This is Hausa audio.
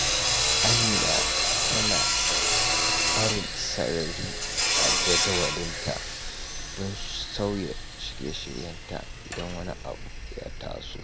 Amina tana barin sarari a jadawalinta don sauya shirye-shiryenta idan wani abu ya taso.